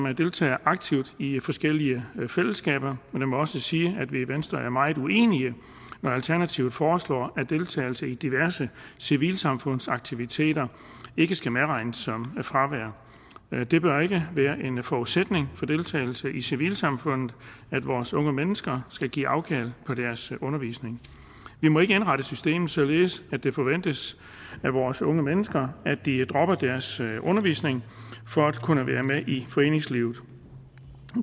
deltager aktivt i forskellige fællesskaber men jeg må også sige at vi i venstre er meget uenige når alternativet foreslår at deltagelse i diverse civilsamfundsaktiviteter ikke skal medregnes som fravær det bør ikke være en forudsætning for deltagelse i civilsamfundet at vores unge mennesker skal give afkald på deres undervisning vi må ikke indrette systemet således at det forventes af vores unge mennesker at de dropper deres undervisning for at kunne være med i foreningslivet